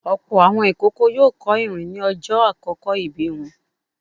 Ọ̀pọ̀ àwọn ìkókó yóò kọ́ ìrìn ní ọjọ́ ìbí àkókò wọn.